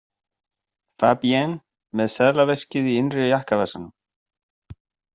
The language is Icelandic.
Fabienne með seðlaveskið í innri jakkavasanum.